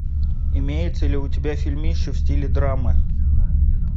имеется ли у тебя фильмище в стиле драмы